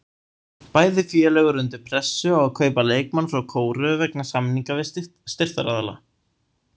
Bæði félög eru undir pressu á að kaupa leikmann frá Kóreu vegna samninga við styrktaraðila.